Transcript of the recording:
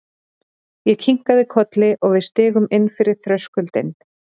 Ég kinkaði kolli og við stigum inn fyrir þröskuldinn.